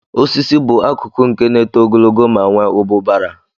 Osisi bụ akụkụ nke na-eto ogologo ma nwee ụbụbara